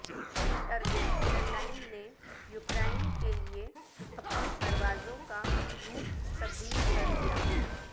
Turkish airline نے Ukraine کے لیے اپنی پروازوں کاروٹ تبدیل کرلیا